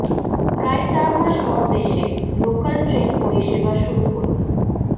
প্রায় চারমাস পর দেশে লোকাল ট্রেন পরিষেবা শুরু হল